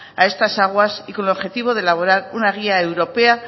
a estas aguas y con objetivo de elaborar una guía europea